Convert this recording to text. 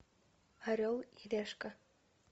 орел и решка